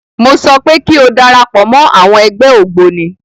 Mọ sọ pé kí o darapọ̀ mọ́ àwọn ẹgbẹ́ ògbóni.